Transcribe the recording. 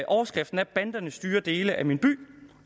overskriften er banderne styrer dele af min by